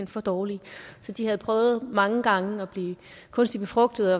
for dårlige så de havde prøvet mange gange at blive kunstigt befrugtet